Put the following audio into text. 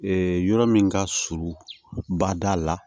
yɔrɔ min ka surun bada la